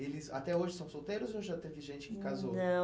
Eles até hoje são solteiros ou já teve gente que casou? Não